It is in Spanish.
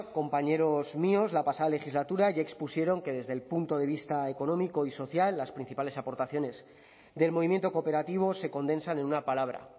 compañeros míos la pasada legislatura ya expusieron que desde el punto de vista económico y social las principales aportaciones del movimiento cooperativo se condensan en una palabra